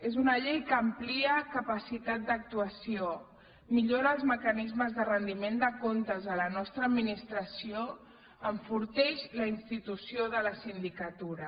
és una llei que amplia capacitat d’actuació millora els mecanismes de rendiment de comptes de la nostra administració i enforteix la institució de la sindicatura